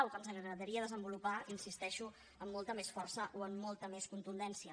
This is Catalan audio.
o que ens agradaria desenvolupar hi insisteixo amb molta més força o amb molta més contundència